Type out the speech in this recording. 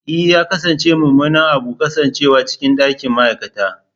E! ya kasance mummunan abu kasancewa cikin ɗakin ma'aikata.